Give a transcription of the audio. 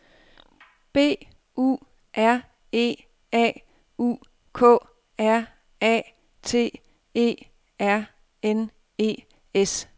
B U R E A U K R A T E R N E S